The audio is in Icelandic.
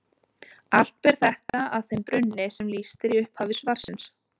Allt ber þetta að þeim brunni sem lýst er í upphafi svarsins.